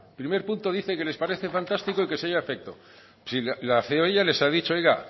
primer punto dice que les parece fantástico y que se lleve a efecto pero si la ceoe ya les ha dicho oiga